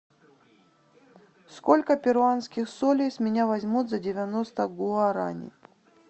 сколько перуанских солей с меня возьмут за девяносто гуарани